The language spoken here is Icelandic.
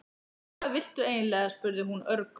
Hvað viltu eiginlega? spurði hún örg.